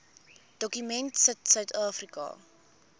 dokument sit suidafrika